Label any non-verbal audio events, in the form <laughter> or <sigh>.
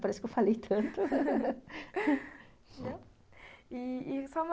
Parece que eu falei tanto <laughs> i-i